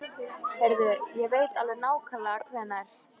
Heyrðu, ég veit alveg nákvæmlega hvenær.